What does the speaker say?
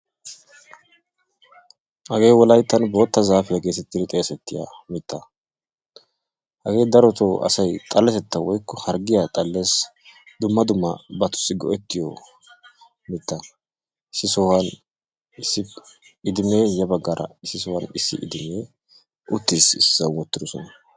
Hagee wolayittan bootta zaafiya geetettidi xeesettiya mittaa. Hagee darotoo asay xaletettawu woyikko harggiya xalles. Dumma dummabatussi go'ettiyo mitta issi sohuwaani issi idimee ya baggaara issi sohuwan issi idimee uttis. issisan wottidosona.